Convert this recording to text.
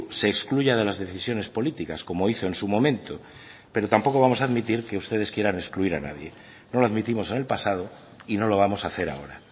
se excluya de las decisiones políticas como hizo en su momento pero tampoco vamos a admitir que ustedes quieran excluir a nadie no lo admitimos en el pasado y no lo vamos a hacer ahora